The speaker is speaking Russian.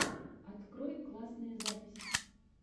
открой классные записи